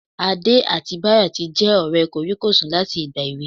Adé àti Báyọ̀ tí jẹ́ ọ̀rẹ́ kòríkòsùn láti ìgbà èwe